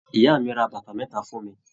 Ìyá mí rà bàtà mẹta fún mí.